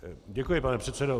Děkuji, pane předsedo.